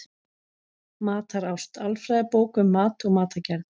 Matarást: Alfræðibók um mat og matargerð.